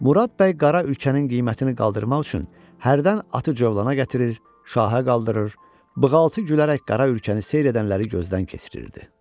Murad bəy qara ülkənin qiymətini qaldırmaq üçün hərdən atı cövlanə gətirir, şahə qaldırır, bığaltı gülərək qara ülkəni seyr edənləri gözdən keçirirdi.